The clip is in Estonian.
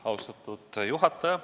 Austatud juhataja!